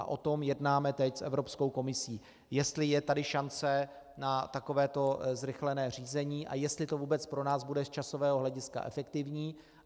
A o tom jednáme teď s Evropskou komisí, jestli je tady šance na takovéto zrychlené řízení a jestli to vůbec pro nás bude z časového hlediska efektivní.